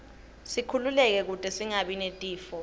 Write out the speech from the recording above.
sikhululeke kute singabi netifo